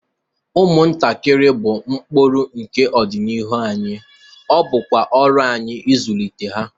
Ụmụntakịrị bụ mkpụrụ nke ọdịnihu anyị, ọ bụkwa ọrụ anyị ịzụlite ha.